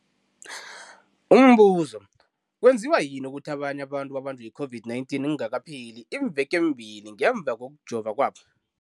Umbuzo, kwenziwa yini ukuthi abanye abantu babanjwe yi-COVID-19 kungakapheli iimveke ezimbili ngemva kokujova kwabo?